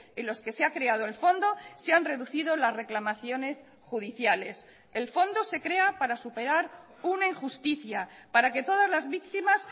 en los que se ha creado el fondo se han reducido las reclamaciones judiciales el fondo se crea para superar una injusticia para que todas las víctimas